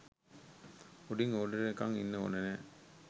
උඩින් ඕඩර් එනකං ඉන්න ඕන නෑ